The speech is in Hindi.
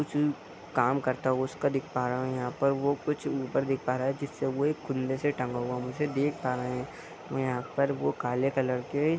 कुछ काम करता हुआ उसका देख पा रहे हैं यहाँ पर वो कुछ ऊपर देख पा रहे हैं जिस से वो एक खुले से टंगा हुआ मुझे देख पा रहे हैं यहाँ पर वो काले कलर के --